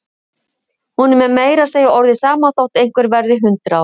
Honum er meira að segja orðið sama þótt einhver verði hundrað ára.